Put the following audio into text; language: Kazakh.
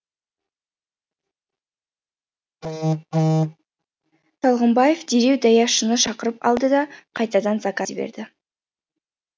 шалғынбаев дереу даяшыны шақырып алды да қайтадан заказ берді